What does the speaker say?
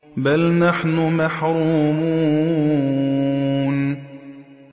بَلْ نَحْنُ مَحْرُومُونَ